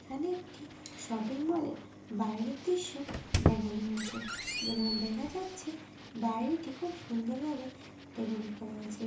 এখানে একটি শপিং মলের এর বাইরের দৃশ্য দেখানো হয়েছে যেখানে দেখা যাচ্ছে বাড়িটি খুব সুন্দর ভাবে ডেকোরেট করা হয়েছে।